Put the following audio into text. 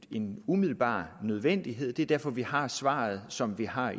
en umiddelbar nødvendighed og det er derfor vi har svaret som vi har